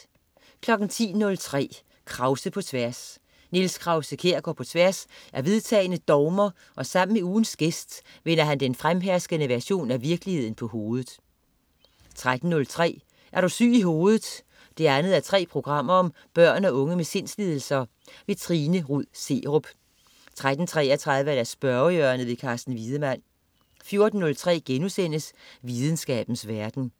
10.03 Krause på tværs. Niels Krause-Kjær går på tværs af vedtagne dogmer og sammen med ugens gæst vender han den fremherskende version af virkeligheden på hovedet 13.03 Er du syg i hovedet 2:3. Børn og unge med sindslidelser. Trine Rud Serup 13.33 Spørgehjørnet. Carsten Wiedemann 14.03 Videnskabens verden*